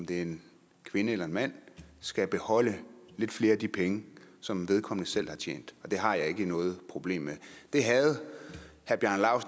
det er en kvinde eller en mand skal beholde lidt flere af de penge som vedkommende selv har tjent og det har jeg ikke noget problem med det havde